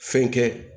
Fɛn kɛ